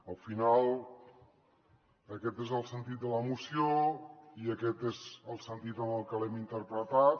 al final aquest és el sentit de la moció i aquest és el sentit amb el que l’hem interpretat